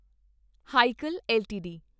Hikal LTD